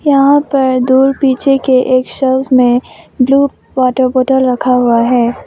यहीं पे दूर पीछे के सेल्स में ब्लू वॉटर बॉटल रखा गया है।